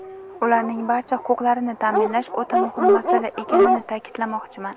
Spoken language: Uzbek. ularning barcha huquqlarini ta’minlash o‘ta muhim masala ekanini ta’kidlamoqchiman.